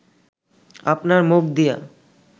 আপনার মুখ দিয়া